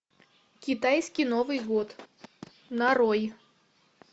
китайский новый год нарой